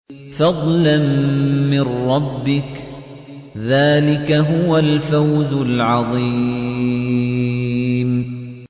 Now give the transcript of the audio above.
فَضْلًا مِّن رَّبِّكَ ۚ ذَٰلِكَ هُوَ الْفَوْزُ الْعَظِيمُ